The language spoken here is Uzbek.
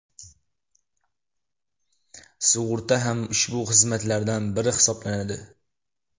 Sug‘urta ham ushbu xizmatlardan biri hisoblanadi.